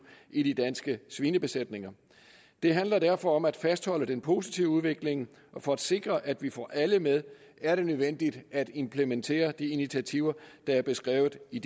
i de danske svinebesætninger det handler derfor om at fastholde den positive udvikling og for at sikre at vi får alle med er det nødvendigt at implementere de initiativer der er beskrevet i